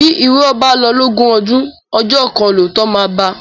Bí ìrọ́ bá lọ lógún ọdún, ọjọ́ kan lóòótọ́ máa bá a.